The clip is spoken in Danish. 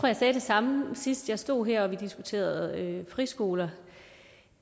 jeg sagde det samme sidst jeg stod her hvor vi diskuterede friskoler